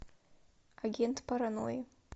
агент паранои